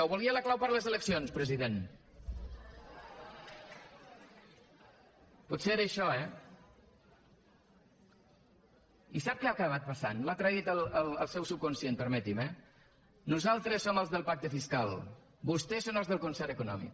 o volia la clau per a les eleccions president potser era això eh i sap què ha acabat passant l’ha traït el seu subconscient permeti’m eh nosaltres som els del pacte fiscal vostès són els del concert econòmic